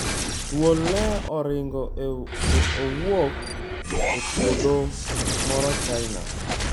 Thuol 'ne oringo' e owuok e puodho moro China